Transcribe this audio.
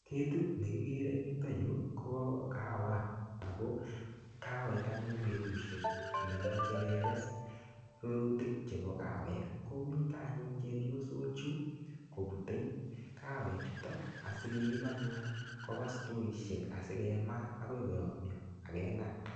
Ketit ne kigere en yuton yu ko kawat ago kagoit anyun betushek nemoche keges rurutik chebo kawek ko mite anyun chepyosok chu kobute kawek chuto asikeib anyun koba stoishek asikemaa agoi koyomnyo ak kemaa.